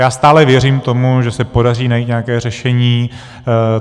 Já stále věřím tomu, že se podaří najít nějaké řešení.